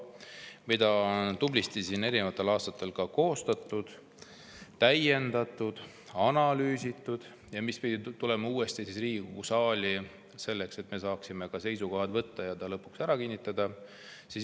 Seda on tublisti siin eri aastatel koostatud, täiendatud, analüüsitud ja see pidi tulema uuesti Riigikogu saali, selleks et me saaksime seisukoha võtta ja selle lõpuks ära kinnitada.